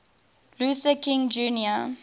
luther king jr